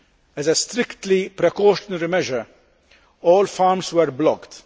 As a strictly precautionary measure, all farms were blocked